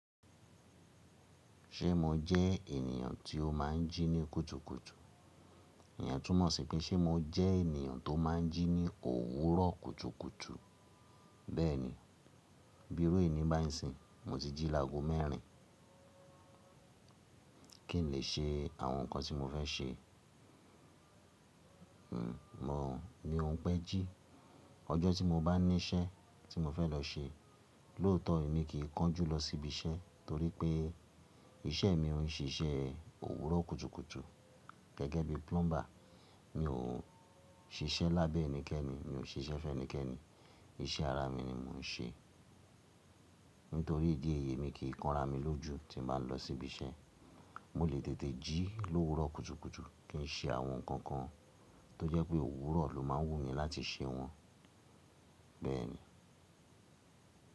Ṣé mo jẹ́ ènìyàn tí ó máa ń jí ní kùtùkùtù? Ìyẹn túmọ̀ sí pé ṣe mo jẹ́ ènìyàn tó máa ń jí ní òwúrọ̀ kùtùkùtù? Bẹ́ẹ̀ni, bí iru eni báyìí nsìyin, mo ti jí lágo mẹ́rin. Kí n lè ṣe àwọn nǹkan tí mo fẹ́ ṣe, n mò mí ó pẹ́ jí. Ọjọ́ tí mo bá ní iṣẹ́ tí mo fẹ́ lọ ṣe, lóòótọ́ èmi kì í kan jú lọ síbi iṣẹ́ torí pé iṣẹ́ mi o n ṣiṣẹ́ òwúrọ̀ kùtùkùtù gẹ́gẹ́ bí plumber. Mi ò ń ṣiṣẹ́ lábẹ́ ẹnikẹ́ni, mi ò ṣe iṣẹ́ ffẹnikẹ́ni, iṣẹ́ ara mi ni mò ń ṣe. Nítorí ìdí èyí èmi kì í kanra mi lójú tí n bá lọ sí ibi iṣẹ́. Mo lè tètè jí lówúrọ̀ kùtùkùtù kí n ṣe àwọn nǹkan kan tó jẹ́ pé òwúrọ̀ ló máa wù mí láti ṣe wọn. Bẹ́ẹ̀ ni.